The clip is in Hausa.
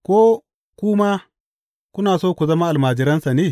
Ko ku ma kuna so ku zama almajiransa ne?